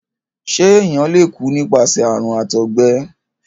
ṣe èyán lẹ kú nípasẹ àrùn àtọgbẹ?